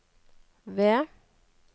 ved